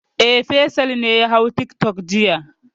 E, Faisal ne ya hau tiktok jiya.